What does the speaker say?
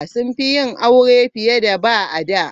Sun fi yin aure fiye da ba, a da.